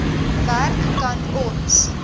werk kan ons